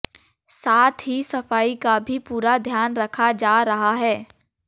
साथ ही सफाई का भी पूरा ध्यान रखा जा रहा है